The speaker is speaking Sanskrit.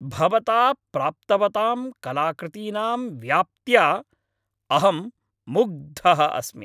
भवता प्राप्तवतां कलाकृतीनां व्याप्त्या अहं मुग्धः अस्मि।